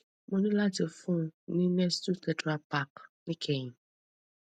mo ní láti fún un ní nestle tetra pack níkẹyìn